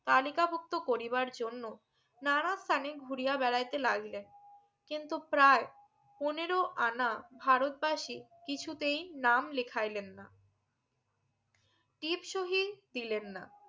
তালিকা ভুক্ত করিবার জন্য নানা স্থানে ঘুরিয়া বেড়াইতে লাগিলেন কিন্তু প্রায় পনেরো আনা ভারত ভাসি কিছুতেই নাম লেখাইলেন না টিপ সহি দিলেন না